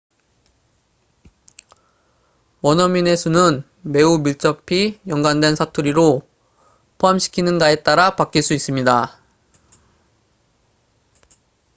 원어민의 수는 매우 밀접히 연관된 사투리도 포함시키는가에 따라 바뀔 수 있습니다